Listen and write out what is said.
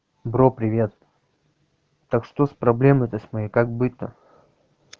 бро привет так что с проблемы с моей как быть то